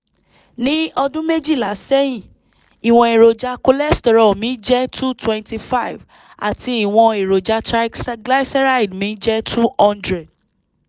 ní ọdún méjìlá sẹ́yìn ìwọ̀n èròjà cholesterol mi jẹ́ 225 àti ìwọ̀n triglyceride mi jẹ́ 200